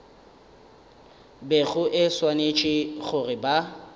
bego e swanetše go ba